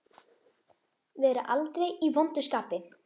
Vera aldrei í vondu skapi.